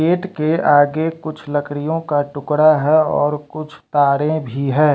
Gate के आगे कुछ लकड़ियों का टुकड़ा है और कुछ तारें भी हैं।